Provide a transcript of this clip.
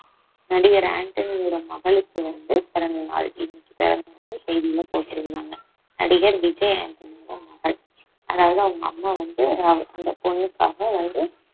நடிகர் ஆண்டனியோட மகளுக்கு வந்து பிறந்த நாள் செய்தியில போட்டிருந்தாங்க நடிகர் விஜய் ஆண்டனியோட மகள் அதாவது அவங்க அம்மா வந்து அஹ் அந்த பொண்ணுக்காக வந்து